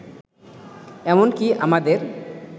এমনকি আমাদের